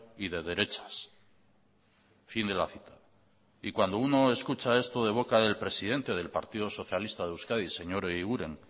y de derechas fin de la cita y cuando uno escucha esto de boca del presidente del partido socialista de euskadi señor eguiguren